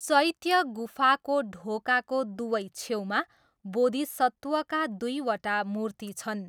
चैत्य गुफाको ढोकाको दुवै छेउमा बोधिसत्वका दुइवटा मूर्ति छन्।